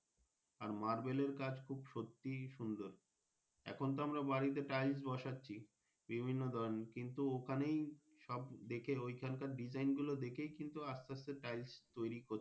আর মারভেলের কাজ খুব সত্যিই সুন্দর এখন তো আমরা বাড়ি তে Tiles বসাচ্ছি বিভিন্ন ধরণের কিন্তু ওখানেই সব দেখে ঐখানকার Design গুলো দেখেই কিন্তু আস্তে আস্তে Tiles তৈরি করছে।